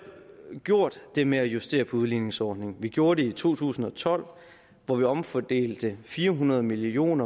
gjort det med at justere op på udligningsordningen og vi gjorde det i to tusind og tolv hvor vi omfordelte fire hundrede million